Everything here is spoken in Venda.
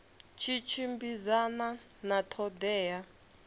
tshi tshimbidzana na ṱho ḓea